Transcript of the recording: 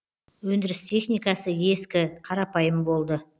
өндіріс техникасы ескі қарапайым болды